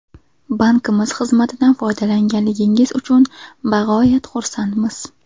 Bankimiz xizmatidan foydalanganingiz uchun bog‘oyat xursandmiz.